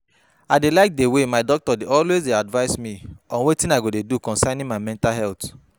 I dey like the way my doctor dey always advice me on wetin I go do concerning my mental health